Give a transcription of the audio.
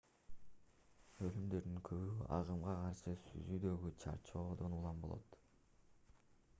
өлүмдөрдүн көбү агымга каршы сүзүүдөгү чарчоодон улам болот